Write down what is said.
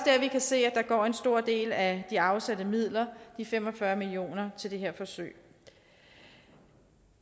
se at der går en stor del af de afsatte midler de fem og fyrre million kr til det her forsøg